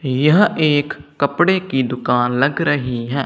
यह एक कपड़े की दुकान लग रही है।